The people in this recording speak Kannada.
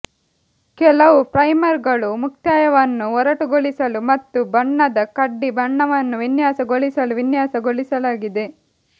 ಕೆಲವು ಪ್ರೈಮರ್ಗಳು ಮುಕ್ತಾಯವನ್ನು ಒರಟುಗೊಳಿಸಲು ಮತ್ತು ಬಣ್ಣದ ಕಡ್ಡಿ ಬಣ್ಣವನ್ನು ವಿನ್ಯಾಸಗೊಳಿಸಲು ವಿನ್ಯಾಸಗೊಳಿಸಲಾಗಿದೆ